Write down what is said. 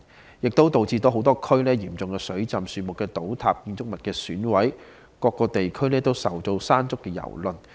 此外，超級颱風亦導致多區出現嚴重水浸，樹木倒塌，建築物損毀，很多地區均受到"山竹"的蹂躪。